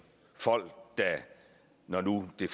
folk der når nu det